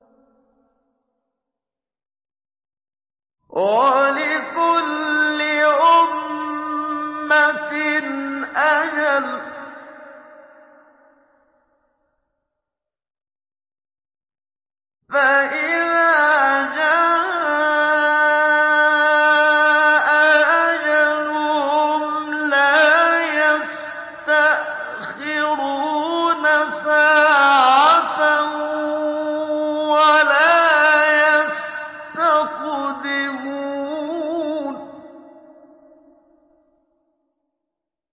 وَلِكُلِّ أُمَّةٍ أَجَلٌ ۖ فَإِذَا جَاءَ أَجَلُهُمْ لَا يَسْتَأْخِرُونَ سَاعَةً ۖ وَلَا يَسْتَقْدِمُونَ